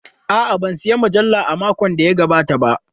A'a, ban sayi mujalla a makon da ya gabata ba.